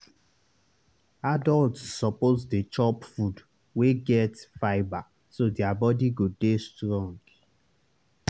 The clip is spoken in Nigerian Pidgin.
adults suppose dey chop food wey get fibre so their body go dey strong.